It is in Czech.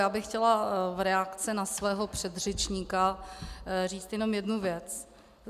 Já bych chtěla v reakci na svého předřečníka říct jenom jednu věc.